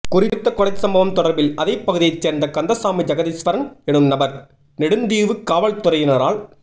குறித்த கொலை சம்பவம் தொடர்பில் அதே பகுதியை சேர்ந்த கந்தசாமி ஜெகதீஸ்வரன் எனும் நபர் நெடுந்தீவுகாவல்துறையினரால்